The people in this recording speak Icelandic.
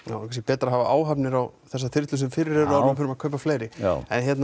kannski betra að hafa áhafnir á þær þyrlur sem fyrir eru áður en við förum að kaupa fleiri já